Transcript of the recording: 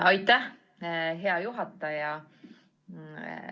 Aitäh, hea juhataja!